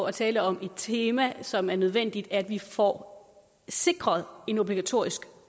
at tale om et tema som det er nødvendigt at vi får sikret en obligatorisk